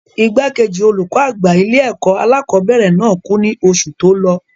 Igbàkejì olùkó àgbà ilé-ẹ̀kọ́ alákọ̀ọ́bẹ̀rẹ̀ náà kú ní oṣù tí lọ.